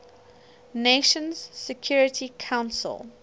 nations security council